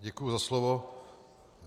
Děkuji za slovo.